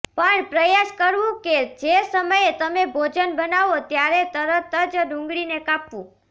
પણ પ્રયાસ કરવું કે જે સમયે તમે ભોજન બનાવો ત્યારે તરત જ ડુંગળીને કાપવું